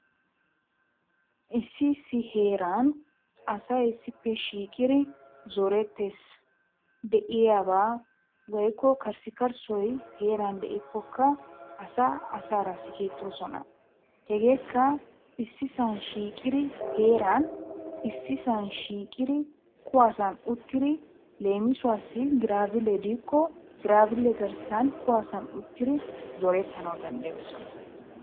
Issi heran asay issippe shiqir zorettes, deiyab awoyiko karsikarsay heran dikokkaa asa asarraa sigettosonna, isdi san shiqidi, kuwasan uttidi, lemisuwasi girabillr dikko girabille garssan kuwasan uttidi zoretanawu dandayosonna.